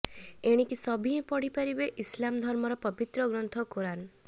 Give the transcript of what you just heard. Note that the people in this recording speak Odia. ଏଣିକି ସଭିଏଁ ପଢିପାରିବେ ଇସଲାମ ଧର୍ମର ପବିତ୍ର ଗ୍ରନ୍ଥ କୋରାନ